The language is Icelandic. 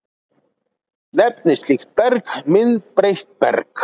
Nefnist slíkt berg myndbreytt berg.